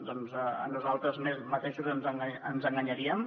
doncs a nosaltres mateixos ens enganyaríem